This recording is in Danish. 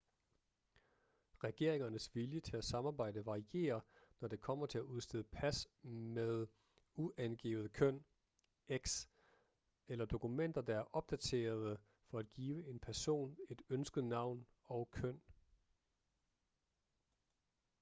regeringernes vilje til at samarbejde varierer når det kommer til at udstede pas med uangivet køn x eller dokumenter der er opdaterede for at give en person et ønsket navn og køn